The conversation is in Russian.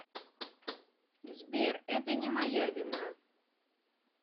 сбер это не моя вина